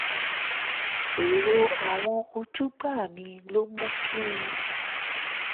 èrò àwọn ojúgbà mi ló mú kí n